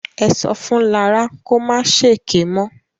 Ẹ sọ fún Lará kó ma ṣèké mọ́.